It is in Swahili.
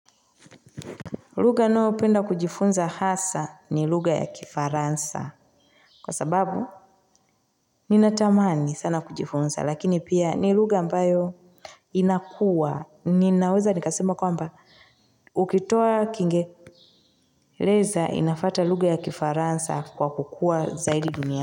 Lugha ninayopenda kujifunza hasaa ni lugha ya kifaransa. Kwa sababu, ninatamani sana kujifunza, lakini pia ni lugha ambayo inakua. Ninaweza, nikasema kwamba, ukitoa kiingereza inafuata lugha ya kifaransa kwa kukua zaidi duniani.